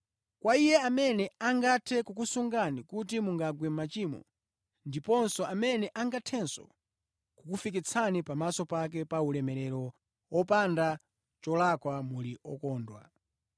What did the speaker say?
Kwa Iye amene angathe kukusungani kuti mungagwe mʼmachimo, ndiponso amene angathenso kukufikitsani pamaso pake pa ulemerero wopanda cholakwa muli okondwa,